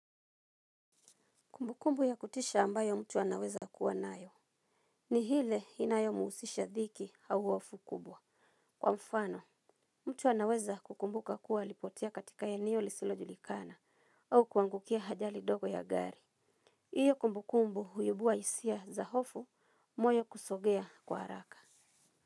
Kumbukumbu ya kutisha ambayo mtu anaweza kuwa nayo ni hile inayo husisha dhiki au hofu kubwa. Kwa mfano mtu anaweza kukumbuka kuwa alipotea katika eneo lisilo julikana au kuangukia ajali ndogo ya gari. Hiyo kumbukumbu huibua hisia za hofu moyo kusogea kwa haraka.